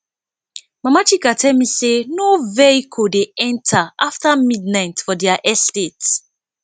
mama chika tell me say no vehicle dey enter after midnight for their estate